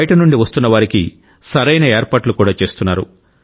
బయటి నుండి వస్తున్న వారికి సరైన ఏర్పాట్లు కూడా చేస్తున్నారు